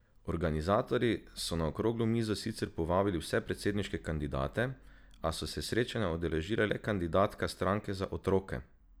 Organizatorji so na okroglo mizo sicer povabili vse predsedniške kandidate, a so se srečanja udeležile le kandidatka stranke Za otroke!